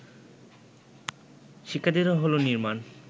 শিক্ষার্থীদের হল নির্মাণ